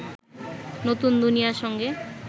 নতুন দুনিয়ার সঙ্গে